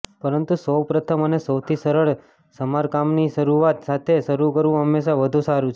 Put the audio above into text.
પરંતુ સૌ પ્રથમ અને સૌથી સરળ સમારકામની શરૂઆત સાથે શરૂ કરવું હંમેશાં વધુ સારું છે